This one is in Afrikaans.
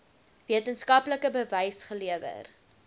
wetenskaplike bewys gelewer